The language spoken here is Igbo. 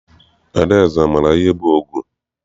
Adaeze amaara ihe bụ ọgụ?